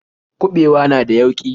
Kuɓewa na da yauƙi.